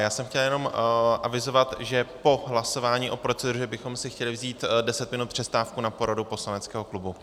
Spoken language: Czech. Já jsem chtěl jenom avizovat, že po hlasování o proceduře bychom si chtěli vzít deset minut přestávku na poradu poslaneckého klubu.